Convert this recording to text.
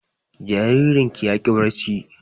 Jaririn ya ƙi barci